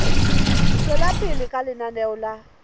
tswela pele ka lenaneo la